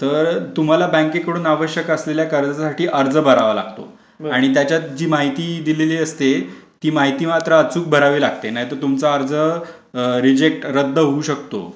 तर तुम्हाला बँकेकडून आवश्यक असलेल्या कर्जासाठी अर्ज भरावा लागतो आणि त्याच्यात जी माहिती दिलेली असते ती माहिती मात्र अचूक भरावी लागते नाहीतर तुमचा अर्ज रिजेक्ट रद्द होऊ शकतो.